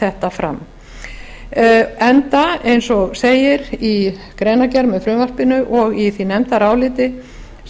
þetta fram enda eins og segir í greinargerð með frumvarpinu og í því nefndaráliti